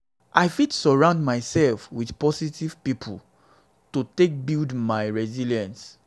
i fit surround myself with positive people to positive people to build my resilience.